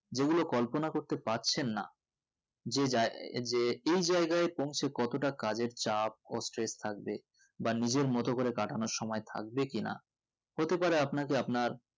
যেগুলো কল্পনা করতে পারছেন না যে জায়গা~যে এই জায়গায় পৌঁছে কতটা কাজের চাপ ও stress থাকবে বা নিজের মতো করে কাটানোর সময় থাকবে কি না হতেপারে আপনাকে আপনার